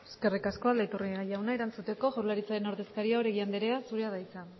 eskerrik asko aldaiturriaga jauna erantzuteko jaurlaritzaren ordezkaria oregi andrea zurea da hitza